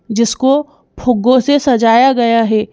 जिसको फुग्गों से सजाया गया है।